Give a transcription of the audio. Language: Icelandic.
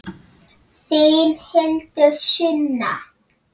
Þín Hildur Sunna.